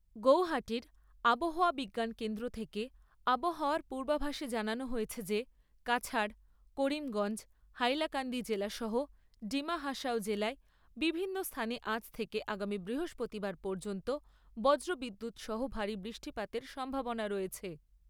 গৌহাটির আবহাওয়া বিজ্ঞান কেন্দ্র থেকে আবহাওয়ার পূর্বাভাসে জানানো হয়েছে যে কাছাড়, করিমগঞ্জ, হাইলাকান্দি জেলা সহ ডিমা হাসাও জেলায় বিভিন্ন স্থানে আজ থেকে আগামী বৃহস্পতিবার পর্যন্ত বজ্র বিদ্যুৎ সহ ভারী বৃষ্টিপাতের সম্ভাবনা রয়েছে।